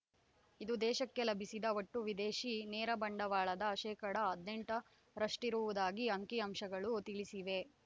ಇದು ದೇಶಕ್ಕೆ ಲಭಿಸಿದ ಒಟ್ಟು ವಿದೇಶಿ ನೇರ ಬಂಡವಾಳದ ಶೇಕಡಾ ಹದಿನೆಂಟರಷ್ಟಿರುವುದಾಗಿ ಅಂಕಿಅಂಶಗಳು ತಿಳಿಸಿವೆ